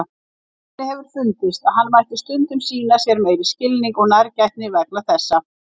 Henni hefur fundist að hann mætti stundum sýna sér meiri skilning og nærgætni vegna þessa.